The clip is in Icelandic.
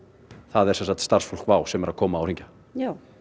er starfsfólk WOW sem er að koma og hringja já